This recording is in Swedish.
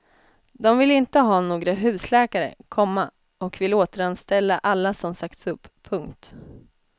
De vill inte ha några husläkare, komma och vill återanställa alla som sagts upp. punkt